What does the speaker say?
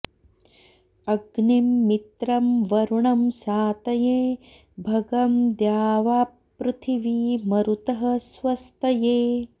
अ॒ग्निं मि॒त्रं वरु॑णं सा॒तये॒ भगं॒ द्यावा॑पृथि॒वी म॒रुतः॑ स्व॒स्तये॑